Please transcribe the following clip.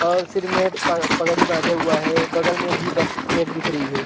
और सीर में प पगड़ी बांधे हुए है बगल में भी बस एक दिख रही हैं ।